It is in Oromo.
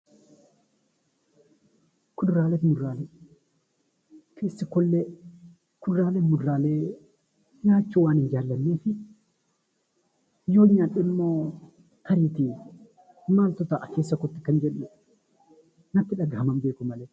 Kuduraalee fi muduraalee nyaachuu waanan jaalladhuuf yoon nyaadhummoo keessa kootti maaltu ta'aa kanan jedhu natti dhagahama.